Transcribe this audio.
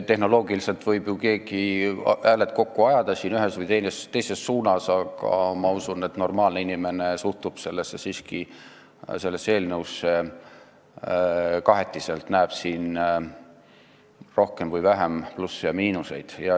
Tehnoloogiliselt võib ju keegi hääled kokku ajada ühes või teises suunas, aga ma usun, et normaalne inimene suhtub sellesse eelnõusse siiski kahetiselt, näeb siin rohkem või vähem plusse ja miinuseid.